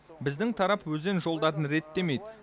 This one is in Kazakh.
біздің тарап өзен жолдарын реттемейді